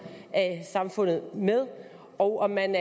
af samfundet med og er man